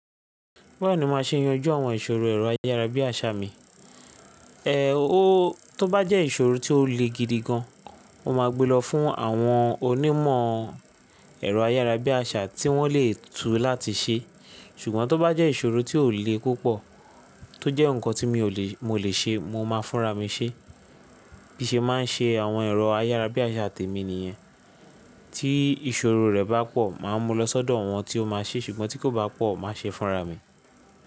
Báwo ni màá ṣe yanjú àwọn ìṣòro ẹ̀rọ ayára bí àṣá mi? O ó tó bá jẹ́ ìṣòro tí ó le gidi gan, mo máa gbe lọ fún àwọn onímọ̀ ẹ̀rọ ayára bí àṣá tí wọ́n lè tú láti ṣe. Ṣùgbọ́n tó bá jẹ́ ìṣòro tí ò le púpọ̀, tó jẹ́ ǹkan tí mi ò lè, mo lè ṣe, mo máa fúnra mi ṣe. Bí ṣe màá se àwọn ẹ̀rọ ayára bí àṣá tèmi nìyẹn, tí ìṣòro rẹ̀ bá pọ̀, màá mú lọ sọ́dọ̀ awọ́n tí ó máa ṣe, ṣùgbọ́n tí kò bá pọ̀, màá ṣe fúnra mi.